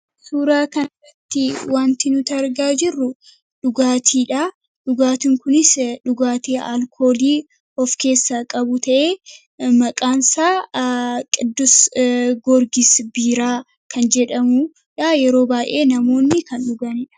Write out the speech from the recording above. Suuraa kanarratti wanti nutargaa jirru dhugaatiidha dhugaatin kunis dhugaatii alkoolii of keessa qabu ta'e maqaansaa qidus gorgis biiraa kan jedhamudha yeroo baa'ee namoonni kan dhuganiidha.